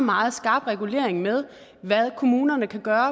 meget skarp regulering med hvad kommunerne kan gøre